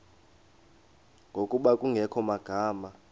ngokuba kungekho magama